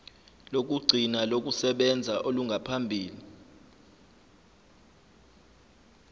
lokugcina lokusebenza olungaphambi